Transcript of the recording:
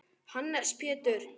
Hannes Pétur.